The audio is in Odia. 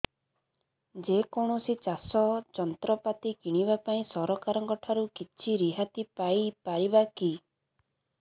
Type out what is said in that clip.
ଯେ କୌଣସି ଚାଷ ଯନ୍ତ୍ରପାତି କିଣିବା ପାଇଁ ସରକାରଙ୍କ ଠାରୁ କିଛି ରିହାତି ପାଇ ପାରିବା କି